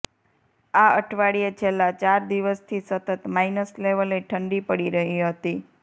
આ અઠવાડિયે છેલ્લા ચાર દિવસથી સતત માઇનસ લેવલે ઠંડી પડી રહી હતી